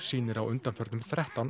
sýnir á undanförnum þrettán